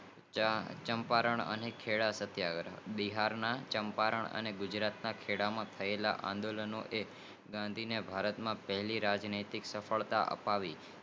ચંપારણ અને ખેડાસત્યાગ્રહ બિહારના ચંપારણન અને ગુજરાતના ખેડા માં થયેલા આંદોલન નો કે ગાંધી ને પહેલી રાજનૈતિક્તા સફળતા આપી